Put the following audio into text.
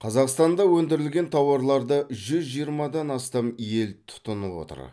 қазақстанда өндірілген тауарларды жүз жиырмадан астам ел тұтынып отыр